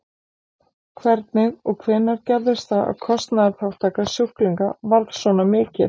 Hvernig og hvenær gerðist það að kostnaðarþátttaka sjúklinga varð svona mikil?